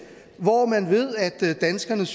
hvor man ved at danskerne